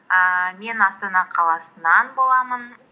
ііі мен астана қаласынан боламын